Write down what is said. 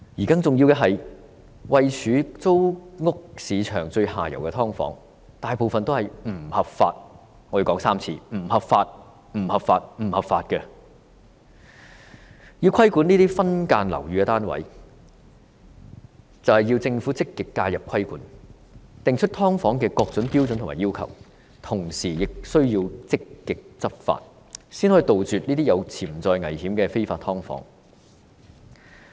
更重要的是，位處租屋市場最下游的"劏房"，大部分也是不合法——我要說3次，是不合法、不合法、不合法的——要規管這些分間樓宇單位，政府須積極介入規管，訂立"劏房"的各種標準和要求，同時亦須積極執法，才能夠杜絕這些有潛在危險的非法"劏房"。